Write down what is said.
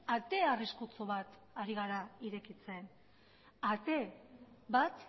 ate arriskutsu bat ari gara irekitzen ate bat